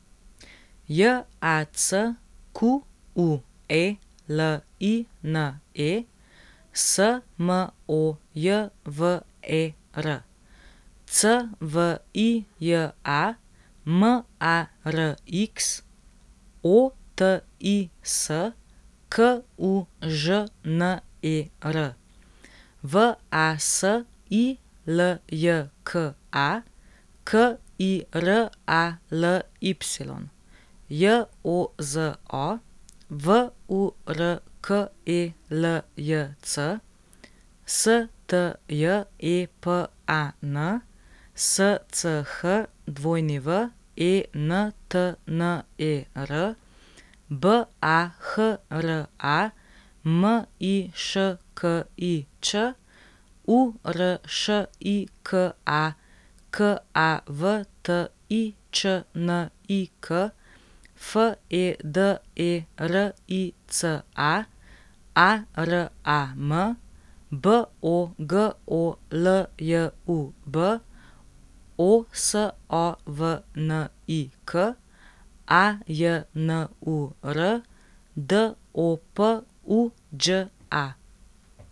Jacqueline Smojver, Cvija Marx, Otis Kužner, Vasiljka Kiraly, Jozo Vurkeljc, Stjepan Schwentner, Bahra Miškić, Uršika Kavtičnik, Federica Aram, Bogoljub Osovnik, Ajnur Dopuđa.